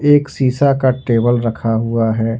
एक शीशा का टेबल रखा हुआ है।